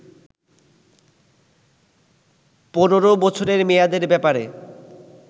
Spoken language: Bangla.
১৫বছরের মেয়াদের ব্যাপারে